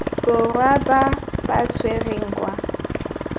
borwa ba ba tshwerweng kwa